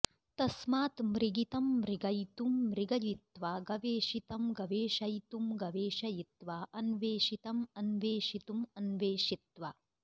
तस्मात् मृगितं मृगयितुं मृगयित्वा गवेषितं गवेषयितुं गवेषयित्वा अन्वेषितम् अवेषितुम् अन्वेषित्वा